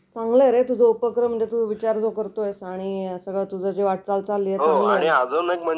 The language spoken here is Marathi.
चांगलं रे तुझा उपक्रम चांगला आहे तू जो विचार करतोय आणि सगळा तुझी वाटचाल जी चालली.